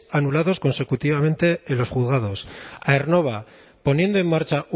anulados consecutivamente en los juzgados aernnova poniendo en marcha